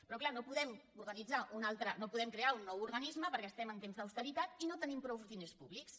però clar no podem crear un nou organisme perquè estem en temps d’austeritat i no tenim prou diners públics